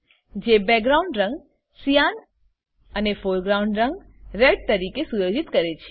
જે બેકગ્રાઉન્ડ રંગ cyan cyan અને અને ફોરગ્રાઉન્ડ રંગ રેડ તરીકે સુયોજિત કરે છે